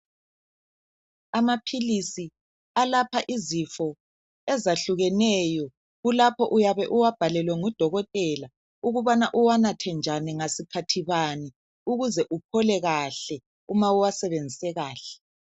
Amaphilisi alapha izifo ezahlukeneyo ulapho uyabe uwabhalelwe ngudokotela ukubana uwanathe njani ngasikhathi bani ukuze uphole kahle uma uwasebenzise kahle.